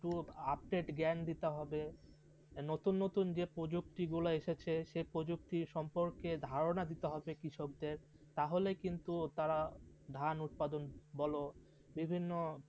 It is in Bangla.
ট্রু আপডেট জ্ঞান দিতে হবে, নতুন নতুন যে প্রযুক্তি গুলো এসেছে সে প্রযুক্তি সম্পর্কে ধারণা দিতে হবে কৃষকদের তাহলে কিন্তু তারা ধান উৎপাদন বলো বিভিন্ন